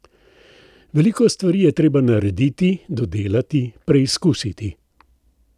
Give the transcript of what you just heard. Veliko stvari je treba narediti, dodelati, preizkusiti.